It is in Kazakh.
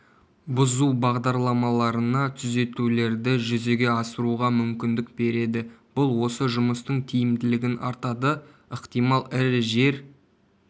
бұзу бағдарламаларына түзетулерді жүзеге асыруға мүмкіндік береді бұл осы жұмыстың тиімділігін артады ықтимал ірі жер